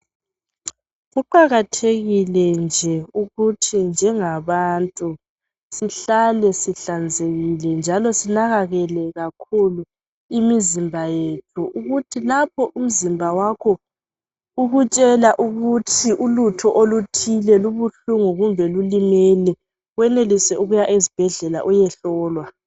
Kuqakathekile nje ukuthi njengabantu sihlale sihlanzekile, njalo sinakekele kakhulu imizimba yethu, ukuthi lapho umzimba wakho ukutshela ukuthi ulutho oluthile lubuhlungu kumbe lulimele, wenelise ukuya esibhedlela uyehlolwa.